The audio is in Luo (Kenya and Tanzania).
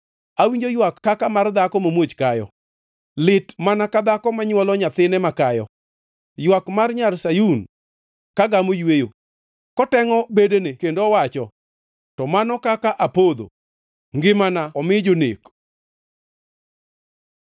Awinjo ywak kaka mar dhako mamuoch kayo, lit mana ka dhako ma nywolo nyathine makayo, ywak mar Nyar Sayun ka gamo yweyo, kotengʼo bedene kendo owacho, “To mano kaka apodho; ngimana omi jonek.”